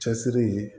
Cɛsiri ye